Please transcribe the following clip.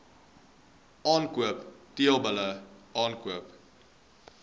aankoop teelbulle aankoop